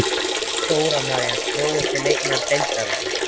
Dóra María Grófasti leikmaður deildarinnar?